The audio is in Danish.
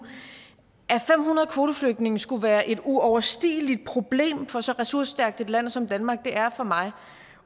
at fem hundrede kvoteflygtninge skulle være et uoverstigeligt problem for så ressourcestærkt et land som danmark er for mig